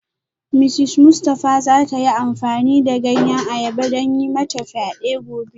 Mrs Mustafa za ta yi amfani da ganyen ayaba don yi mata fyade gobe